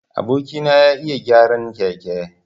Aboki na ya iya gyaran keke.